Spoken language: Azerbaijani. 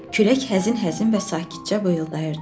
Külək həzin-həzin və sakitcə vıyıldayırdı.